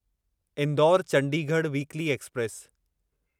Indore Chandigarh weekly express